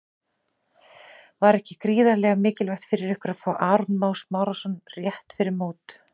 Var ekki gríðarlega mikilvægt fyrir ykkur að fá Aron Má Smárason rétt fyrir mót?